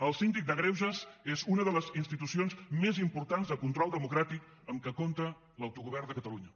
el síndic de greuges és una de les institucions més importants de control democràtic amb què compta l’autogovern de catalunya